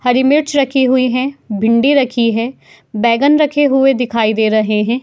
हरी मिर्च रखी हुई हैं। भिंडी रखी है। बैगन रखे हुए दिखाई दे रहे हैं।